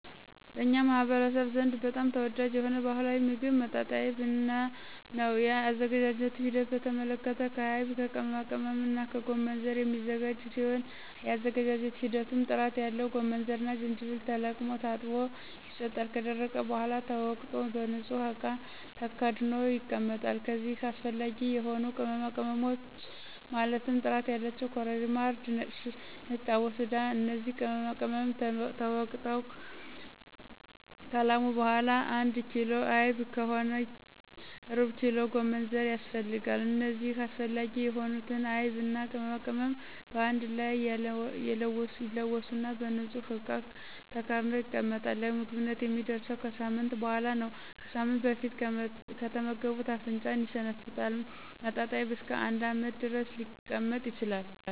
በኛ ማህበረሰብ ዘንድ በጣም ተወዳጅ የሆነ ባህላዊ ሞግብ መጣጣይብ ነው የአዘገጃጀቱ ሂደት በተመለከተ ከአይብ ከቅመማቅመምና ከጎመንዘር የሚዘጋጅ ሲሆን የአዘገጃጀት ሂደቱም ጥራት ያለው ጎመንዘርና ጅጅብል ተለቅሞ ታጥቦ ይሰጣል ከደረቀ በሗላ ተወቅጦ በንጹህ እቃ ተከድኖ ይቀመጣል ከዚይም አሰፈላጊ የሆኑ ቅመማቅመሞች ማለትም ጥራት ያላቸው ኮረሪማ :እርድና ነጭ አቦስዳ እነዚህ ቅመማቅመም ተወግጠው ከላሙ በሗላ አንድ ኪሎ አይብ ከሆነ ሩብኪሎ ጎመንዘር ያስፈልጋል እነዚህ አስፈላጊ የሆኑትን አይብና ቅመማቅመም በአንድ ላይ ይለወሱና በንጹህ እቃ ተከድኖ ይቀመጣል ለምግብነት የሚደርሰው ከሳምንት በሗላ ነው ከሳምንት በፊት ከተመገቡት አፍንጫን ይሸነፍጣል መጣጣይብ እስከ አንድ አመት ድረስ ሊቀመጥ ይችላል